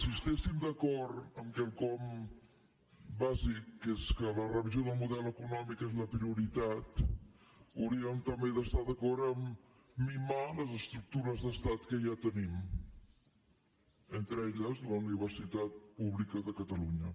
si estiguéssim d’acord amb quelcom bàsic que és que la revisió del model econòmic és la prioritat hauríem també d’estar d’acord a mimar les estructures d’estat que ja tenim entre elles la universitat pública de catalunya